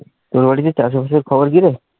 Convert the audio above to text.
তোর বাড়িতে চাষবাসের খবর কি রে?